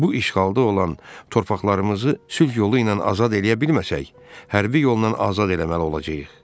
Bu işğalda olan torpaqlarımızı sülh yolu ilə azad eləyə bilməsək, hərbi yolla azad eləməli olacağıq.